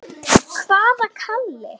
Hvaða Kalli?